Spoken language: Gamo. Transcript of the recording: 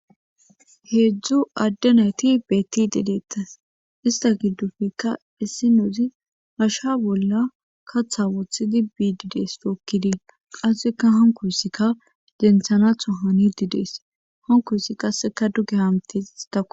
heedzdzu adde nayti beettide deettes ista giddufekka issi nouzi asha bolla katha wothidi biididees dookkidii qassekka hankoysikka denthanatho hani didees hankoyssi kasseka duge hamtes istako